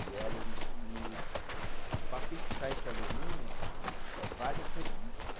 E o alu, e para fixar esse alumínio, é vários rebites.